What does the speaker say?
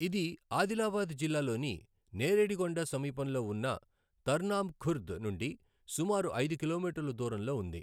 ఇది ఆదిలాబాద్ జిల్లాలోని నేరేడిగొండ సమీపంలో వున్న తర్నామ్ ఖుర్ద్ నుండి సుమారు ఐదు కిలోమీటర్లు దూరంలో ఉంది.